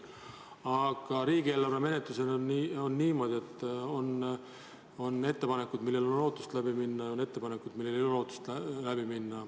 Aga riigieelarve menetluses on niimoodi, et on ettepanekud, millel on lootust läbi minna, ja on ettepanekud, millel ei ole lootust läbi minna.